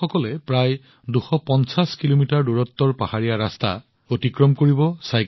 এই লোকসকলে চাইকেল চলাই পাহাৰীয়া ৰাস্তাত প্ৰায় ২৫০ কিলোমিটাৰ দূৰত্ব অতিক্ৰম কৰিব